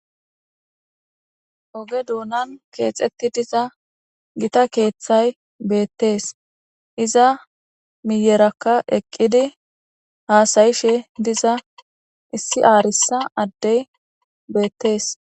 Oge duunan keexetti diza gita keeththay beettees iza miyerakka eqqidi haasayishe diza issi aarissa addey beettees